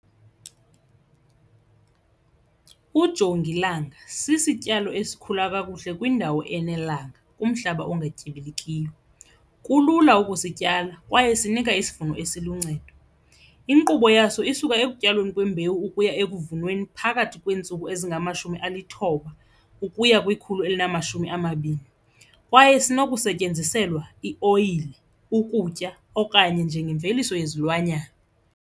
Ujongilanga sisityalo esikhula kakuhle kwindawo enelanga kumhlaba ungatyibilikiyo, kulula ukusityala kwaye sinika isivuno esiluncedo. Inkqubo yaso isuka ekutyalweni kwembewu ukuya ekuvunweni phakathi kweentsuku ezingamashumi alithoba ukuya kwekhulu elinamashumi amabini kwaye sinokusetyenziselwa ioyile, ukutya okanye njengemveliso yezilwanyana.